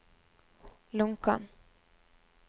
Lonkan